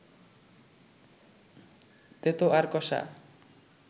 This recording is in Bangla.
তেতো আর কষা